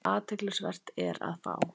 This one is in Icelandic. Athyglisvert er að á